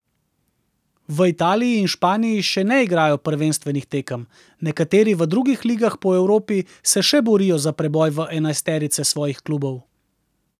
V Italiji in Španiji še ne igrajo prvenstvenih tekem, nekateri v drugih ligah po Evropi se še borijo za preboj v enajsterice svojih klubov.